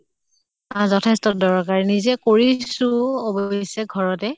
যথেষ্ট দৰকাৰী নিজে কৰিছো অৱশ্য়ে ঘৰতে